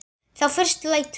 Þá fyrst lætur